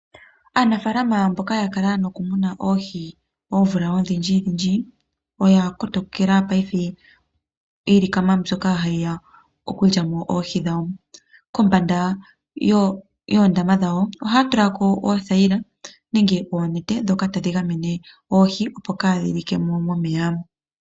Aanafaalama mboka yakala nokumuna oohi oomvula odhindjidhindji, oya kotokela paife iilikama mbyoka ha yi ya okulyamo oohi dhawo. Kombanda yoondama dhawo ohaya tulako oothayila nenge oonete dhoka tadhi gamene oohi opo kaadhilike mo momeya.